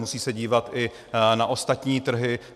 Musí se dívat i na ostatní trhy.